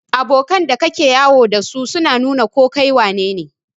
Abokan da ka ke yawo da su na nu na ko kai wanene.